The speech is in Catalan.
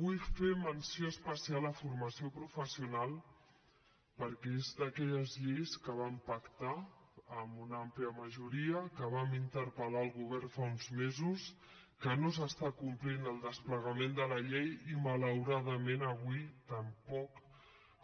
vull fer menció especial de formació professional perquè és d’aquelles lleis que vam pactar amb una àmplia majoria que vam interpel·lar el govern fa uns mesos que no s’està complint el desplegament de la llei i malauradament avui tampoc